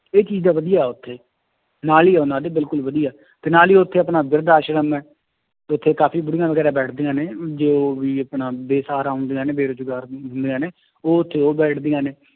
ਇਹ ਚੀਜ਼ ਦਾ ਵਧੀਆ ਉੱਥੇ ਤੇ ਨਾਲ ਹੀ ਉਹਨਾਂ ਦੀ ਬਿਲਕੁਲ ਵਧੀਆ, ਤੇ ਨਾਲ ਹੀ ਉੱਥੇ ਆਪਣਾ ਬਿਰਦ ਆਸ਼ਰਮ ਹੈ, ਉੱਥੇ ਕਾਫ਼ੀ ਬੁੜੀਆਂ ਵਗ਼ੈਰਾ ਬੈਠਦੀਆਂ ਨੇ ਜੋ ਵੀ ਆਪਣਾ ਬੇਸ਼ਹਾਰਾ ਹੁੰਦੀਆਂ ਨੇ ਬੇਰੁਜ਼ਗਾਰ ਹੁੰਦੀਆਂ ਨੇ ਉਹ ਉੱਥੇ ਉਹ ਬੈਠਦੀਆਂ ਨੇ